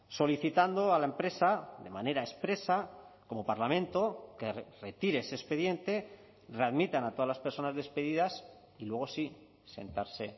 solicitando a la empresa de manera expresa como parlamento que retire ese expediente readmitan a todas las personas despedidas y luego sí sentarse